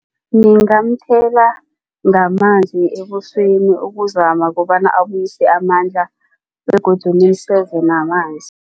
Ngingamthela ngamanzi ebusweni ukuzama kobana abuyise amandla begodu ngimseze namanzi.